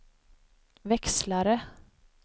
växlare